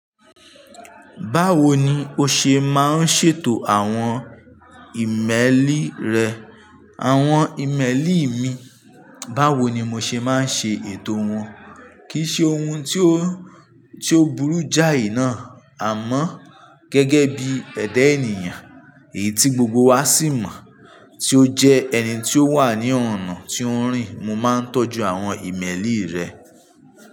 Báwo ni o ṣe máa ń ṣètò àwọn ìmẹ́lì rẹ àwọn ìmẹ́lì mi báwo ni mo ṣe máa ń ṣe ètò wọn? Kì í ṣe ohun tí ó, tí ó burú jáì náà. Àmọ́ gẹ́gẹ́ bí ẹ̀dá ènìyàn èyí tí gbogbo wa sì mọ̀ tí ó jẹ́ ẹni tí ó wà ní ọ̀nà tí ó ń rìn. Mo máa ń tọ́jú àwọn ìmẹ́lì rẹ.